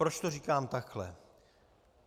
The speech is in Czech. Proč to říkám takhle?